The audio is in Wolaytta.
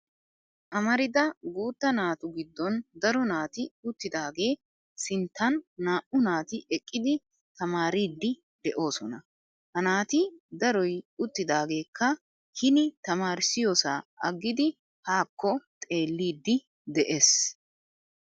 Amarida guutta naatu giddon daro naati uttidaagaagee sinttan naa'u naati eqqidi tamaariiddi de'oosona. Ha naati daroy uttidaageekka hin tamaarississiyoosaa aggidi haakko xeellidi de'es.